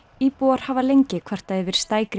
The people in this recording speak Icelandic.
íbúar hafi lengi kvartað yfir